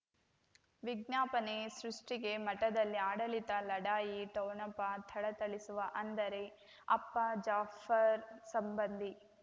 ವಿಜ್ಞಾಪನೆ ಸೃಷ್ಟಿಗೆ ಮಠದಲ್ಲಿ ಆಡಳಿತ ಲಢಾಯಿ ಠೋಣಪ ಥಳಥಳಿಸುವ ಅಂದರೆ ಅಪ್ಪ ಜಾಫರ್ ಸಂಬಂಧಿ